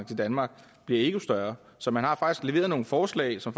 til danmark bliver endnu større så man har faktisk leveret nogle forslag som